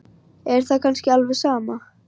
Er það kannski alveg sama?